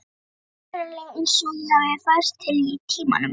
Mér finnst raunverulega einsog ég hafi færst til í tímanum.